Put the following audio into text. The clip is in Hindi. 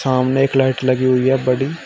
सामने एक लाइट लगी हुई है बड़ी।